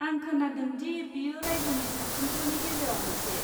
आं खोनादों दि बेयो रायजोनि साबसिनफोरनि गेजेराव मोनसे?